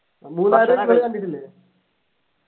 മൂന്നാറ് നിങ്ങള് കണ്ടിട്ടില്ലേ